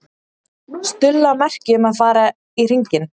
Stulla merki um að fara í hringinn.